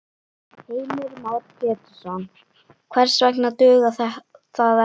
Heimir Már Pétursson: Hvers vegna dugar það ekki?